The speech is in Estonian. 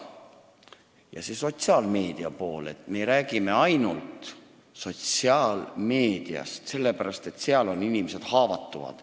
Ja sellest sotsiaalmeedia poolest: me räägime ainult sotsiaalmeediast, sellepärast et seal on inimesed haavatavad.